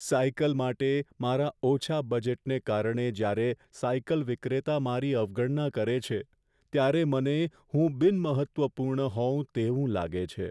Cycle માટે મારા ઓછા બજેટને કારણે જ્યારે સાયકલ વિક્રેતા મારી અવગણના કરે છે, ત્યારે મને હું બિનમહત્ત્વપૂર્ણ હોઉં તેવું લાગે છે.